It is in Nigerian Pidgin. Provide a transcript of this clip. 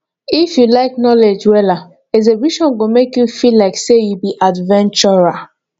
if you like knowledge wella exhibition go make you feel like say you be adventurer